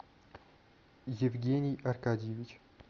евгений аркадьевич